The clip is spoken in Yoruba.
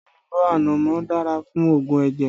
Èlùbọ́ ànámọ́ dára fún òògùn ẹ̀jẹ̀